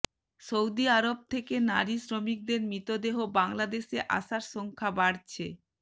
Saudi আরব থেকে নারী শ্রমিকদের মৃতদেহ বাংলাদেশে আসার সংখ্যা বাড়ছে